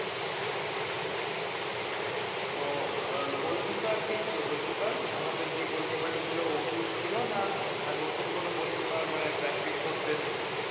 ও তো আর গোলকিপার কে ছিল গোলকিপার আমাদের যে গোলকিপার ছিল যে না নতুন কোনো গোলকিপার মানে practice করতে এসেছে ।